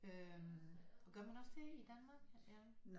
Øh gør man også det i Danmark